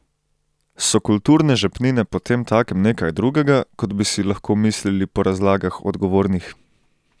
So kulturne žepnine potemtakem nekaj drugega, kot bi si lahko mislili po razlagah odgovornih?